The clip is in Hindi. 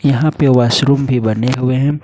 यहां पे वॉशरूम भी बने हुए हैं।